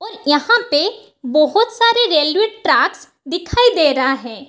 और यहाँ पे बहुत सारे रेलवे ट्रैक्स दिखाई दे रहा हैं।